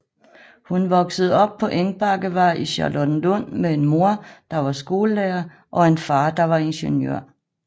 Hun voksede op på Engbakkevej i Charlottenlund med en mor der var skolelærer og en far der var ingeniør